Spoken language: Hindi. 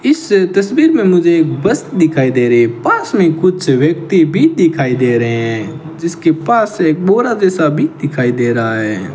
इस तस्वीर में मुझे एक बस दिखाई दे रही है पास में कुछ व्यक्ति भी दिखाई दे रहे हैं जिसके पास एक बोरा जैसा भी दिखाई दे रहा है।